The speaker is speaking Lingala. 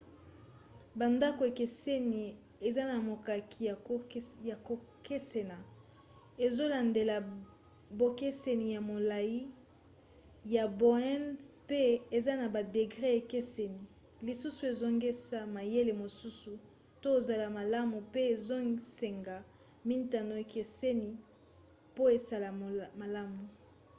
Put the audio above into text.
bandako ekeseni eza na makoki ya kokesena ezolandela bokeseni ya molai ya ba onde pe eza na ba degre ekeseni lisusu ezosenga mayele mosusu to ezala malamu pe ezosenga mintango ekeseni po esala malamu